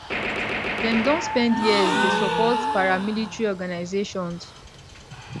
dem don spend years dey support paramilitary organisations